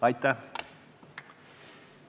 Aitäh!